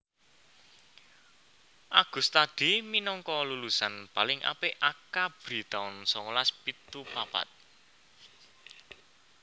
Agustadi minangka lulusan paling apik Akabri taun songolas pitu papat